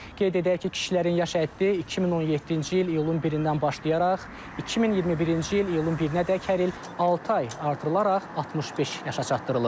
Qeyd edək ki, kişilərin yaş həddi 2017-ci il iyulun 1-dən başlayaraq 2021-ci il iyulun 1-ədək hər il altı ay artırılaraq 65 yaşa çatdırılıb.